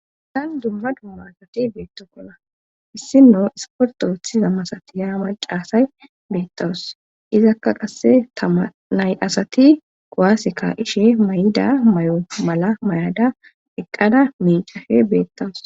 Asan dumma dumma asati beetto kona issino isportoothiza masati yaama caasay beettawus izakka qasse tamanay asati goaasika ishe may7ida may7o mala may7ada eqqada mincafe beettawus.